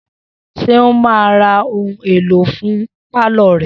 Seun ma ra ohun èlò fún pálọ̀ rẹ̀